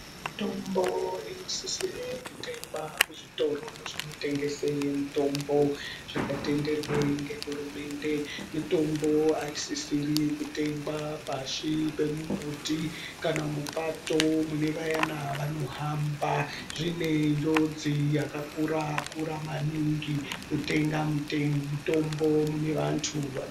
Mitombo inosisire kutengwa kuzvitoro zvinotengese mitombo zvakatenderwe ngehurumende, mutombo aisisiri kutengwa pashi pemumbuti kana mupato mune vayana vanohamba zvine njodzi yakakura kura maningi kutenga mutombo munevantu.